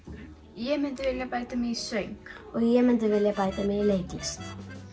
ég myndi vilja bæta mig í söng og ég myndi vilja bæta mig í leiklist